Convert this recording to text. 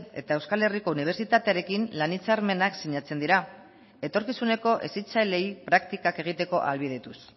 eta euskal herriko unibertsitatearekin lan hitzarmenak sinatzen dira etorkizuneko hezitzaileei praktikak egiteko ahalbidetuz